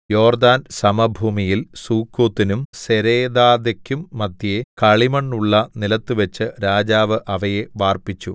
യോർദ്ദാൻ സമഭൂമിയിൽ സുക്കോത്തിനും സെരേദാഥെക്കും മദ്ധ്യേ കളിമണ്ണുള്ള നിലത്തുവെച്ച് രാജാവ് അവയെ വാർപ്പിച്ചു